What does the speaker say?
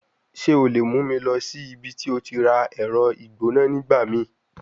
Ṣe o le mu mi lọ si ibiti o ti ra ẹrọ igbona nigbamii?